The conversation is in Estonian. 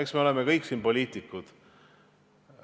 Eks me oleme siin kõik poliitikud.